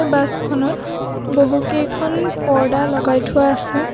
Bus খনত বহুকেইখন পৰ্দা লগাই থোৱা আছে।